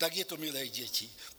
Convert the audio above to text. Tak je to, milé děti.